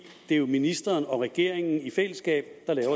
det er jo ministeren og regeringen i fællesskab